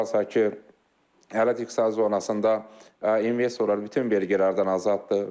Nəzərə alsaq ki, Ələt İqtisadi Zonasında investorlar bütün vergilərdən azaddır.